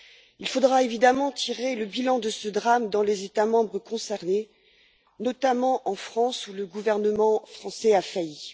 Il faudra évidemment tirer le bilan de ce drame dans les États membres concernés, notamment en France, où le gouvernement français a failli.